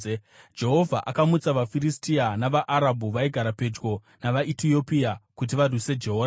Jehovha akamutsa vaFiristia navaArabhu vaigara pedyo navaEtiopia kuti varwise Jehoramu.